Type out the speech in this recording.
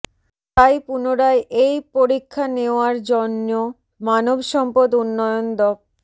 তাই পুনরায় এই পরীক্ষা নেওয়ার জন্য় মানবসম্পদ উন্নয়ন দ